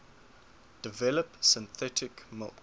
develop synthetic milk